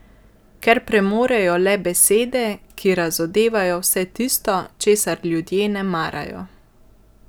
Ker premorejo le besede, ki razodevajo vse tisto, česar ljudje ne marajo.